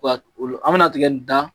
olu an mina tigɛ nin dan